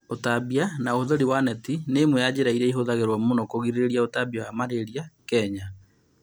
Ũtambia na ũhũthĩri wa neti nĩ ĩmwe ya njĩra iria ihũthagĩrũo mũno kũgiria ũtambia wa malaria kenya